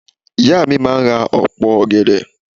Ìyá mi máà ra opo ọ̀gẹ̀dẹ̀.